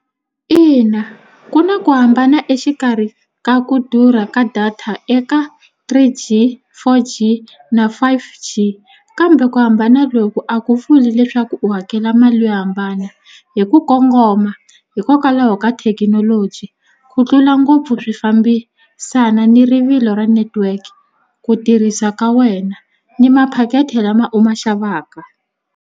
Ina ku na ku hambana exikarhi ka ku durha ka data eka three G four G na five G kambe ku hambana loku a ku vuli leswaku u hakela mali yo hambana hi ku kongoma hikokwalaho ka thekinoloji ku tlula ngopfu swi fambisana ni rivilo ra network-i ku tirhisa ka wena ni maphaketi lama u ma xavaka.